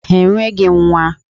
Ha enweghị nwa!